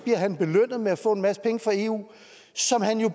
han belønnet med at få en masse penge fra eu som han jo